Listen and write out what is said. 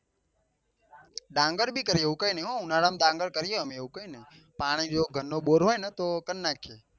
ડાંગર બી કરીએ એવું કઈ નહિ હો ઉનાળા માં ડાંગર કરીએ એવું કઈ નહિ પાણી જો ઘર નો બોર હોય ને તો કર નાખીએ